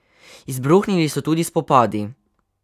Izbruhnili so tudi spopadi.